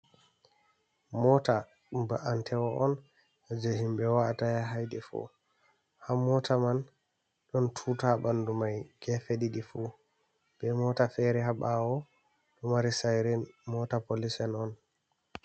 Mota ba’antewo on je himɓe wa’ata ya ha yiɗi fu, ha mota man ɗon tuta ɓanɗu mai gefe ɗiɗi fu, be mota fere ha ɓawo ɗo mari sirin mota polic en on.